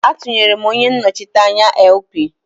Atunyere m onye nnochite anya LP.